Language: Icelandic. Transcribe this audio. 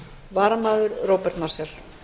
varamaður er róbert marshall